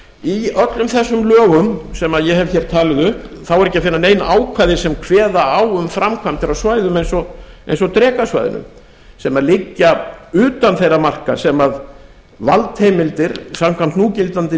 í öllum þessum lögum sem ég hef hér talið upp þá er ekki að finna nein ákvæði sem kveða á um framkvæmdir á svæðum eins og drekasvæðinu sem liggja utan þeirra marka sem valdheimildir samkvæmt núgildandi